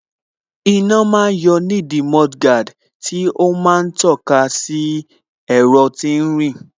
Iná ma ń yọ nídìí mudguard tí ó ma ń tọ́ka sí ẹ̀rọ tí ń rìn